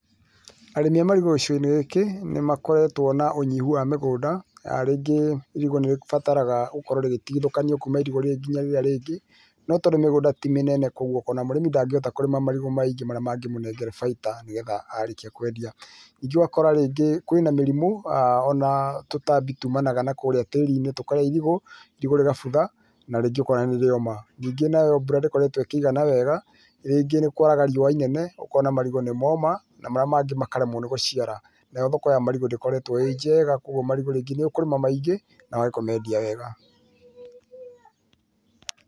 Arĩmi a marigũ gĩcigo-inĩ gĩkĩ, nĩ makoretwo na ũnyihu wa mĩgũnda. Rĩngĩ, irigũ nĩ rĩbataraga gũkorwo rĩgĩtigithũkanio kuuma irigũ rĩrĩ nginya rĩrĩa rĩngĩ. No tondũ mĩgũnda ti mĩnene kũu, ũkona mũrĩmi ndangĩhota kũrima marigũ maingĩ marĩa mangĩmũnengere faida nĩgetha aarĩkia kwendia. Ningĩ ũgakora rĩngĩ, kwĩna mĩrimũ ona tũtambi tuumanaga na kũrĩa tĩĩri-inĩ, tũkarĩa irigũ. Irigu rĩgabutha, na rĩngĩ ũkona nĩ rĩoma. Ningĩ nayo mbura ndĩkoretwo ĩkĩigana wega, rĩngĩ nĩũkoraga rĩũa inene, ukona marigũ nĩ mooma, na marĩa mangĩ makaremwo nĩ gũciara. Nayo thoko ya marigũ ndĩkoretwo ĩ njega, kũoguo marigũ rĩngĩ nĩũkũrĩma maingĩ, na wage kũmeendia wega.